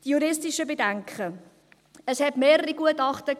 Die juristischen Bedenken: Es gab mehrere Gutachten.